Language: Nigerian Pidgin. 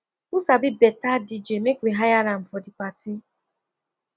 who sabi better dj make we hire am for the party